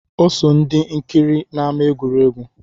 Ọ so ndị nkiri n’ama egwuregwu